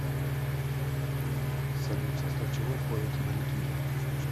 салют в состав чего входит аналитизм